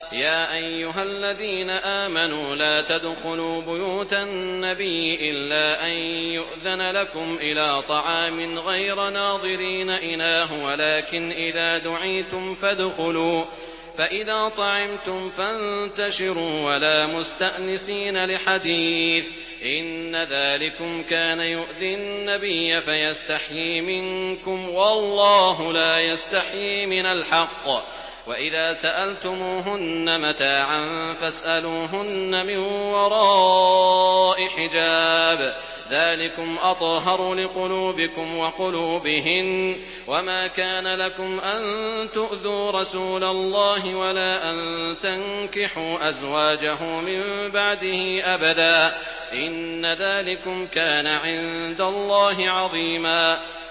يَا أَيُّهَا الَّذِينَ آمَنُوا لَا تَدْخُلُوا بُيُوتَ النَّبِيِّ إِلَّا أَن يُؤْذَنَ لَكُمْ إِلَىٰ طَعَامٍ غَيْرَ نَاظِرِينَ إِنَاهُ وَلَٰكِنْ إِذَا دُعِيتُمْ فَادْخُلُوا فَإِذَا طَعِمْتُمْ فَانتَشِرُوا وَلَا مُسْتَأْنِسِينَ لِحَدِيثٍ ۚ إِنَّ ذَٰلِكُمْ كَانَ يُؤْذِي النَّبِيَّ فَيَسْتَحْيِي مِنكُمْ ۖ وَاللَّهُ لَا يَسْتَحْيِي مِنَ الْحَقِّ ۚ وَإِذَا سَأَلْتُمُوهُنَّ مَتَاعًا فَاسْأَلُوهُنَّ مِن وَرَاءِ حِجَابٍ ۚ ذَٰلِكُمْ أَطْهَرُ لِقُلُوبِكُمْ وَقُلُوبِهِنَّ ۚ وَمَا كَانَ لَكُمْ أَن تُؤْذُوا رَسُولَ اللَّهِ وَلَا أَن تَنكِحُوا أَزْوَاجَهُ مِن بَعْدِهِ أَبَدًا ۚ إِنَّ ذَٰلِكُمْ كَانَ عِندَ اللَّهِ عَظِيمًا